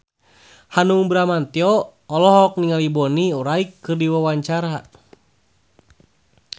Hanung Bramantyo olohok ningali Bonnie Wright keur diwawancara